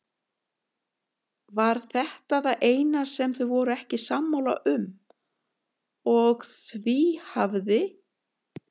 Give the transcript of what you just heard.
Var þetta það eina sem þau voru ekki sammála um og því hafði